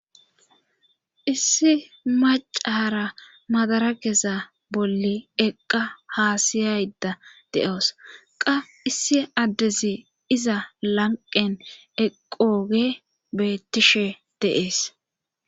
issi macaara madara geza bolli eqqa haasiyayda de7oos qa issi addezi iza lanqen eqooge bettishe de'es